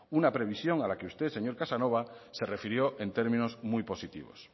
una previsión a la que usted señor casanova se refirió en términos muy positivos